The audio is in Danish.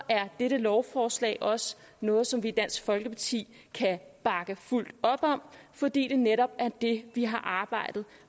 er dette lovforslag også noget som vi i dansk folkeparti kan bakke fuldt op om for det er netop det vi har arbejdet